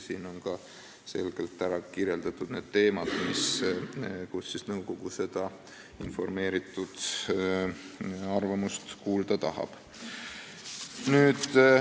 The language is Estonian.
Siin on selgelt ära kirjeldatud need teemad, mille kohta nõukogu ekspertide arvamust kuulda tahab.